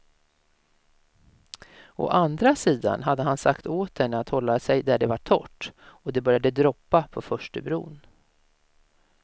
Å andra sidan hade han sagt åt henne att hålla sig där det var torrt, och det började droppa på förstubron.